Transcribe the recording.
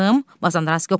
Mazandaranski: Oqtay!